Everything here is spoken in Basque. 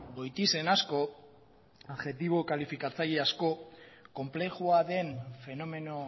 goitizen asko adjektibo kalifikatzaile asko konplexua den fenomeno